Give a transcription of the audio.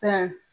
Fɛn